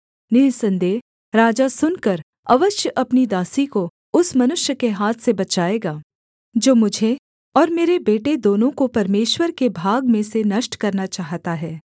निःसन्देह राजा सुनकर अवश्य अपनी दासी को उस मनुष्य के हाथ से बचाएगा जो मुझे और मेरे बेटे दोनों को परमेश्वर के भाग में से नष्ट करना चाहता है